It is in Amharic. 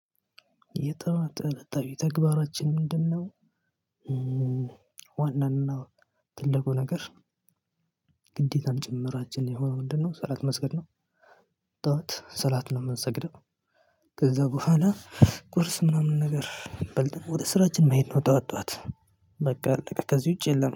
የጠዋት እለታዊ ተግባራችን ምንድነው? ዋናንና ትልቁ ነገር ግዴታም ጭምራችን የሆነው ምንድነው? ሰላት መስገድ ነው። ጠዋት ሰላት ነው የምንሰግደው። ከዛ በኋላ ቁርስ ምናምን ነገር በልተን ወደ ስራችን መሄድ ነው። ጧት ጧት በቃ ከዚህ ውጪ የለም